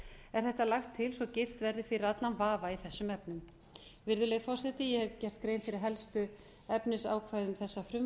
er þetta lagt til svo girt verði fyrir allan vafa í þessum efnum virðulegi forseti ég hef gert grein fyrir helstu efnisákvæðum þessa frumvarps ég legg